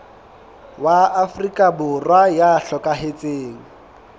wa afrika borwa ya hlokahetseng